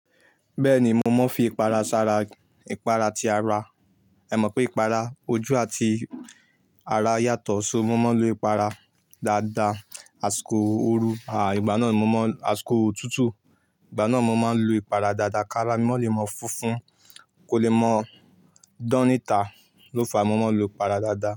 Bẹ́ẹ̀ni, mo máa ń fi ìpara sára ìpara ti ara. Ẹ mọ̀ pé ìpara ojú àti ará yàtọ̀. So mo máa ń lo ìpara dáadáa, àsìkò ooru, àá ìgbà náà ni mo máa ń, àskò òtútù, ìgbà náà mo máa ń lo ìpara dáadáa. Kára mi má lè máa funfun, kò lè mọ dán ní tà. Ló fa mo máa ń lo ìpara dáadáa.